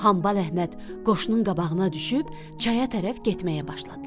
Hambal Əhməd qoşunun qabağına düşüb çaya tərəf getməyə başladılar.